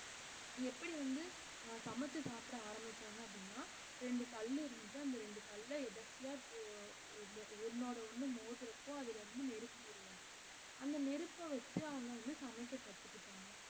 எப்படி வந்து அஹ் சமைச்சு சாப்பிட ஆரம்பிச்சாங்க அப்படின்னா ரெண்டு கல் இருந்தது அந்த ரெண்டு கல்ல இப்படி எதிர்ச்சிய ஒ~ ஒண்~ ஒண்ணோட ஒண்ணு மோதுறப்போ அதுல இருந்து நெருப்பு உருவாச்சு அந்த நெருப்ப வச்சு அவங்க வந்து சமைக்கக் கத்துக்கிட்டாங்க